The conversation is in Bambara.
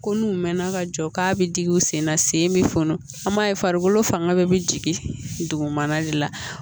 Ko n'u mɛnna ka jɔ k'a bɛ jigin u sen na sen bɛ funu an b'a ye farikolo fanga bɛɛ bɛ jigin dugumana de la